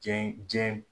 Diɲɛ diɲɛ